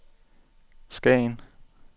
Skagen